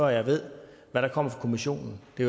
jeg ved hvad der kommer fra kommissionen det